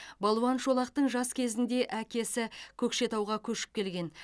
балуан шолақтың жас кезінде әкесі көкшетауға көшіп келген